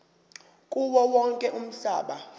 kuwo wonke umhlaba